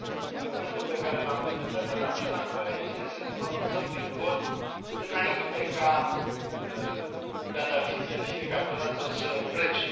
Argumentul pe care l am prezentat era acela că e bine să ne pronunțăm prin vot înainte ca Gaddafi să fie capturat sau să plece.